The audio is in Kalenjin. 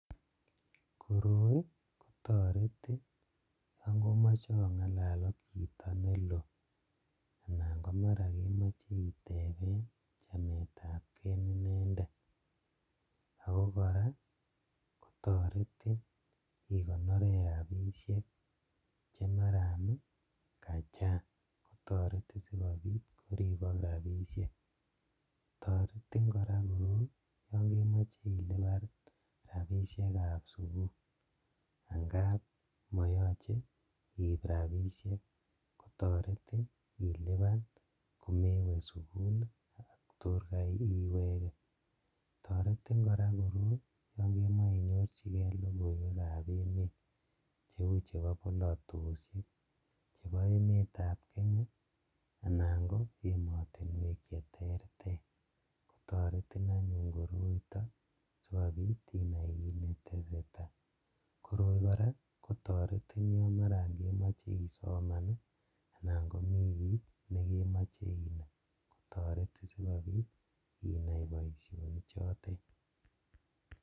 Koroii kotoretin yoon komoche ong'alal ak chito neloo anan komaran kokemoche itebeen chameetab kee inendet, akoo kora kotoretin ikonoren rabishek chemaran kachang kotoreti sikobiit koribok rabishek, toretin kora koroi yoon kemoche iliban rabishekab sukul ang'ab moyoche iib rabishek kotoretin iliban komewe sukul kotor iwekee, toretin kora koroi yoon kemoche inyorchikee lokoiwekab emet cheuu chebo bolotoshek chebo emetab Kenya anan ko emotinwek cheterter kotoretin anyun koroiton sikobiit inai kiit netesetaa, koroi kora kotoretin yoon maran kemoche isoman anan komii kiit nekemoche inaii kotoretin sikobiit inai boishoni choton.